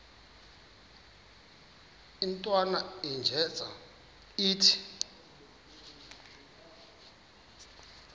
intwana unjeza ithi